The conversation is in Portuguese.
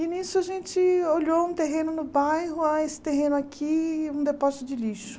E nisso a gente olhou um terreno no bairro, ah, esse terreno aqui é um depósito de lixo.